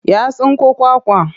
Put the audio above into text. Ya tsinko kwakwa.